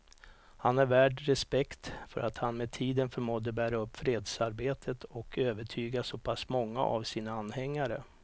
Han är värd respekt för att han med tiden förmådde bära upp fredsarbetet och övertyga så pass många av sina anhängare.